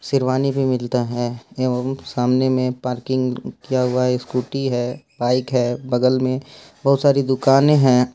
शेरवानी भी मिलता है एवम् सामने में पार्किंग किया हुआ स्कूटी हैं बाइक है बगल में बहुत सारी दुकानें है।